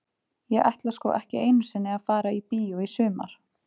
Ég ætla sko ekki einu sinni að fara í bíó í sumar.